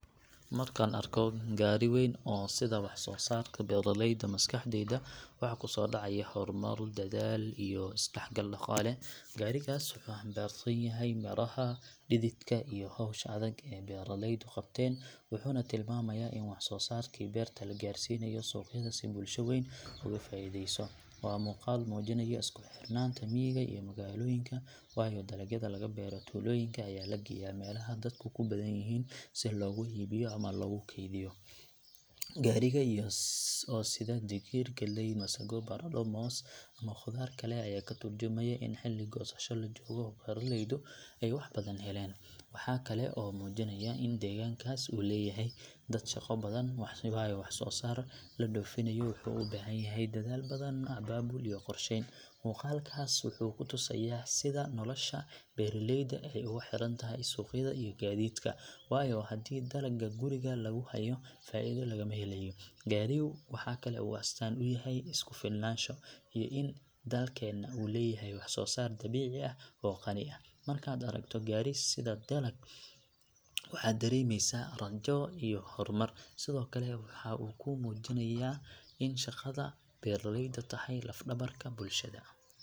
Markaan arko gaari weyn oo sida waxsoosaarka beeraleyda maskaxdayda waxa ku soo dhacaya horumar, dadaal iyo is dhexgal dhaqaale. Gaarigaas wuxuu xambaarsan yahay midhaha dhididka iyo hawsha adag ee ay beeraleydu qabteen, wuxuuna tilmaamayaa in waxsoosaarkii beerta la gaarsiinayo suuqyada si bulsho weyn uga faa’iideyso. Waa muuqaal muujinaya isku xirnaanta miyiga iyo magaalooyinka, waayo dalagyada laga beero tuulooyinka ayaa la geyaa meelaha dadku ku badan yihiin si loogu iibiyo ama loogu kaydiyo. Gaariga oo sida digir, galley, masago, baradho, moos ama khudaar kale ayaa ka tarjumaya in xilli goosasho la joogo oo beeraleydu ay wax badan heleen. Waxa kale oo uu muujinayaa in deegaankaas uu leeyahay dad shaqo badan, waayo waxsoosaar la dhoofinayo wuxuu u baahan yahay dadaal badan, abaabul iyo qorsheyn. Muuqaalkaas wuxuu ku tusayaa sida nolosha beeraleyda ay ugu xirantahay suuqyada iyo gaadiidka, waayo haddii dalagga guriga lagu hayo faa’iido lagama helayo. Gaarigu waxa kale oo uu astaan u yahay isku filnaansho iyo in dalkeenna uu leeyahay waxsoosaar dabiici ah oo qani ah. Markaad aragto gaari sida dalag, waxaad dareemaysaa rajo iyo horumar, sidoo kale waxay kuu muujinaysaa in shaqada beeraleydu tahay laf dhabarka bulshada.